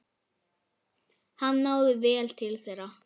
Hann náði vel til þeirra.